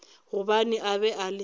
gobane a be a le